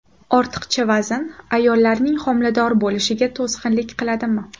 Ortiqcha vazn ayollarning homilador bo‘lishiga to‘sqinlik qiladimi?